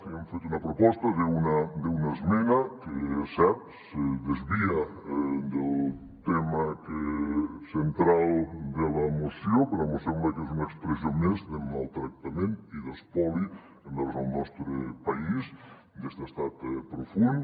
hem fet una proposta d’una esmena que és cert se desvia del tema central de la moció però mos sembla que és una expressió més del maltractament i de l’espoli envers el nostre país d’este estat profund